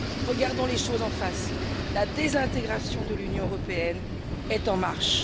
Regardons les choses en face la désintégration de l'Union européenne est en marche.